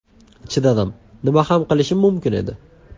Chidadim, nima ham qilishim mumkin edi?